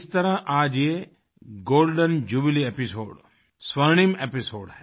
इस तरह आज ये गोल्डेन जुबिली एपिसोड स्वर्णिम एपिसोड है